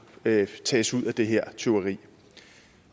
tages ud af det her tyveri